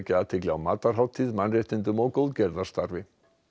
athygli á mannréttindum og